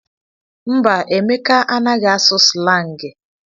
Mba, Emeka anaghị asụ slangị.